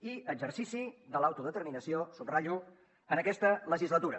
i exercici de l’autodeterminació ho subratllo en aquesta legislatura